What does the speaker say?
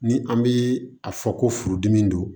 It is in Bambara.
Ni an bi a fɔ ko furudimi don